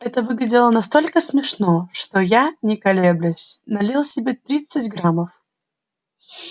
это выглядело настолько смешно что я не колеблясь налил себе тридцать граммов